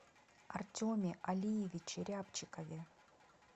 артеме алиевиче рябчикове